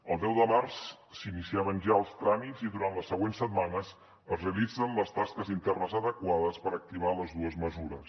el deu de març s’iniciaven ja els tràmits i durant les següents setmanes es realitzen les tasques internes adequades per activar les dues mesures